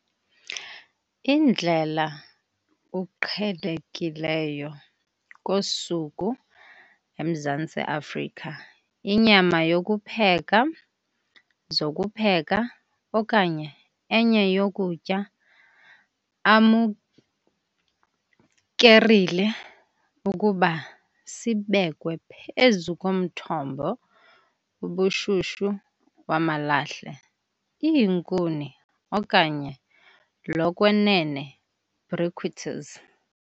Indlela uqhelekileyo kosuku eMzantsi Afrika inyama yokupheka zokupheka okanye enye yokutya amukerile ukuba sibekwe phezu komthombo ubushushu wamalahle, iinkuni okanye lokwenene briquettes.